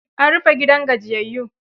An rufe gidan gajiyayyun